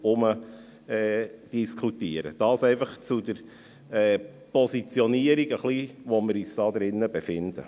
Soviel zur Positionierung, wo wir uns hier befinden.